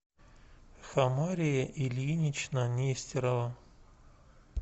хамария ильинична нестерова